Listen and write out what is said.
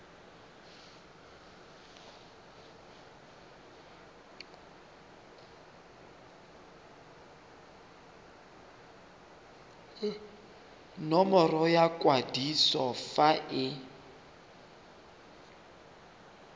nomoro ya kwadiso fa e